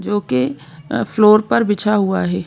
जोकि फ्लोर पर बिछा हुआ है।